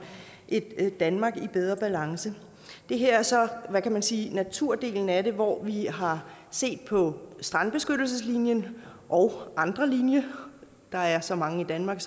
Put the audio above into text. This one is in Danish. et danmark i bedre balance det her er så hvad kan man sige naturdelen af det hvor vi har set på strandbeskyttelseslinjen og andre linjer der er så mange i danmark